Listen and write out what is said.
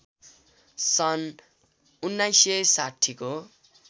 सन् १९६० को